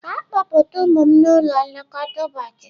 Gaa kpọpụta ụmụ m n'ụlọ nlekọta ụbọchị!